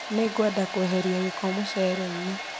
Nĩngwenda kweheria gĩko mũcere-inĩ